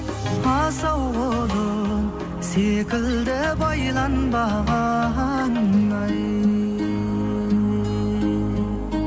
асау құлын секілді байланбаған ай